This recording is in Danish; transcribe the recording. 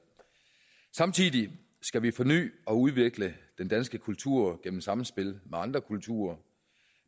samtidig skal vi forny og udvikle den danske kultur i samspil med andre kulturer